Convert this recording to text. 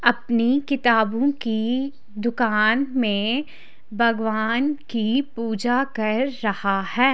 अपनी किताबों की दुकान में भगवान की पूजा कर रहा है।